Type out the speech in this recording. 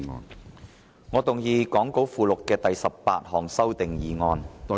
主席，我動議講稿附錄的第18項修訂議案。